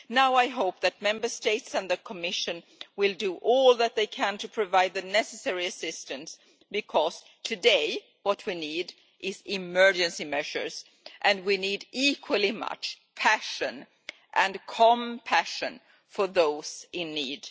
I hope that Member States and the Commission will do all that they can to provide the necessary assistance, because today we need both emergency measures and passion and compassion for those in need.